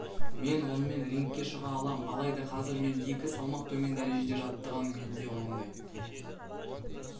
мен онымен рингке шыға алам алайда қазір мен екі салмақ төмен дәрежеде жаттығам менде ондай